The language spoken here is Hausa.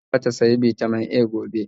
Tace zata siya Bitamin A gobe